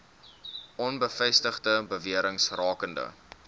onbevestigde bewerings rakende